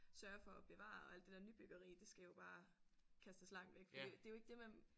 Sørge for at bevare og alt det der nybyggeri det skal jo bare kastes langt væk fordi det er jo ikke det man